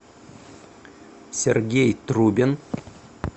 сергей трубин